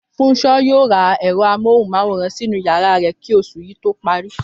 Fúnṣo yóò ra ẹ̀rọ amóhùn-máwòrán sínú yàrá rẹ̀ kí oṣù yìí tó parí